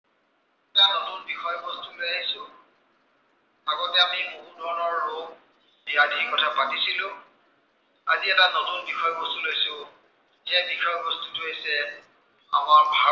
আজি এটা নতুন বিষয় বস্তু লৈ আহিছো। আগতে আমি বহু ধৰনৰ ৰোগ, ব্য়াধিৰ কথা পাতিছিলো। আজি এটা নতুন বিষয় বস্তু লৈছো, সেই বিষয় বস্তুটো হৈছে, আমাৰ